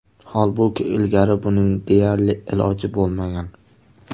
Holbuki ilgari buning deyarli iloji bo‘lmagan.